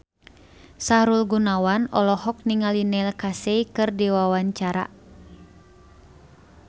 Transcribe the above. Sahrul Gunawan olohok ningali Neil Casey keur diwawancara